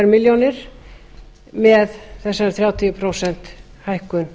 milljónir með þessari þrjátíu prósent hækkun